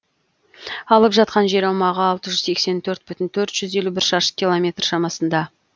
алып жатқан жер аумағы алты жүз сексен төрт бүтін төрт жүз елу бір шаршы километр шамасында